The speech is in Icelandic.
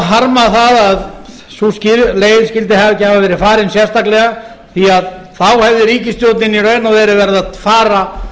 harma það að sú leið skyldi ekki hafa verið farið sérstaklega því að þá hefði ríkisstjórnin í raun og veru verið að fara